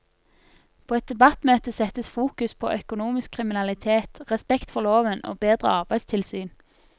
På et debattmøte settes fokus på økonomisk kriminalitet, respekt for loven og bedre arbeidstilsyn.